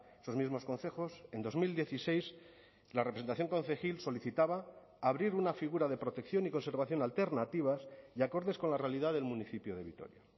esos mismos concejos en dos mil dieciséis la representación concejil solicitaba abrir una figura de protección y conservación alternativas y acordes con la realidad del municipio de vitoria